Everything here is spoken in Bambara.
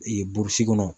Ee burusi kɔnɔ